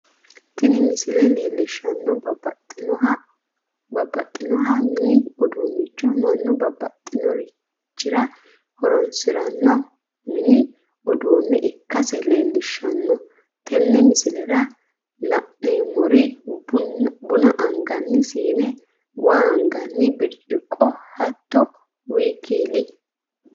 Tini misile leelishanohu babaxinoha mini iduunicho manu babbaxinoririchira horonsirano mini uduune ikkasi leellishano tene misilera la'neemori buna angani siine, waa anganni bircciqo hato wkl